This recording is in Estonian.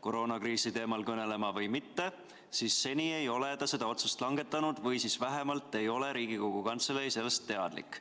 koroonakriisi teemal kõnelema või mitte, siis seni ei ole ta seda otsust langetanud või siis vähemalt ei ole Riigikogu Kantselei sellest teadlik.